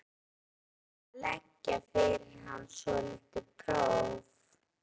Hann ákvað að leggja fyrir hana svolítið próf.